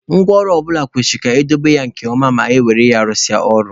Ngwa ọrụ ọ bụla kwesịrị ka edobe ya nke ọma ma e were ya rụsịa ọrụ.